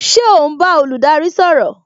Ṣé o n bá olùdarí sọ̀rọ̀?